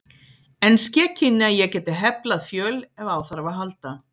En ske kynni að ég gæti heflað fjöl ef á þarf að halda.